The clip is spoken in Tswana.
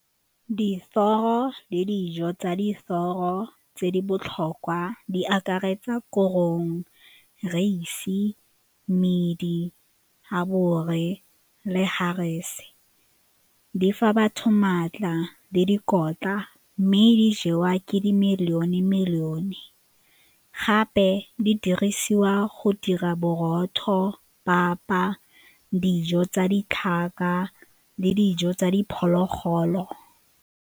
Dithoro le dijo tsa dithoro tse di botlhokwa di akaretsa korong, raese, di fa batho maatla le dikotla mme di jewa ke di gape di dirisiwa go dira borotho, papa, dijo tsa le dijo tsa diphologolo.